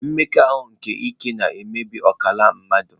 Mmekọahụ n'ike na-emebi ókèala mmadụ